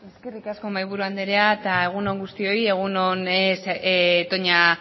eskerrik asko mahaiburu andrea eta egun on guztioi egun on toña